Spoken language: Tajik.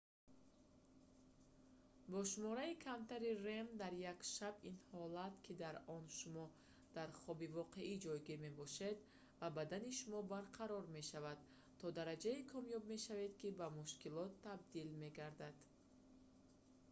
бо шумораи камтари rem дар як шаб ин ҳолат ки дар он шумо дар хоби воқеӣ ҷойгир мебошед ва бадани шумо барқарор мешавад то дараҷае камёб мешавад ки ба мушкилот табдил мегардад